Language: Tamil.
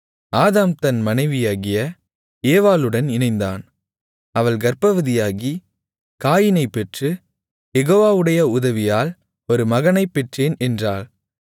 ஆதாம் தன் மனைவியாகிய ஏவாளுடன் இணைந்தான் அவள் கர்ப்பவதியாகி காயீனைப் பெற்று யெகோவாவுடைய உதவியால் ஒரு மகனைப் பெற்றேன் என்றாள்